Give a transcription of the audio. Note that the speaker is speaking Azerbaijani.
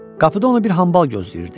Qapıda onu bir hambal gözləyirdi.